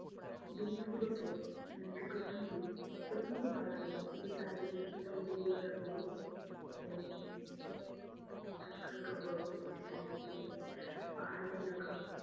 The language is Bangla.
জিনিসগুলোকে আহ চোখের সামনে সত্যি খুব ভালো লাগছিলো। শুধু চারিদিকে শুধু সবুজ আর সবুজ এবং হালকা হালকা বরফ পড়ছে চারিদিকে, পাহাড়ি এলাকা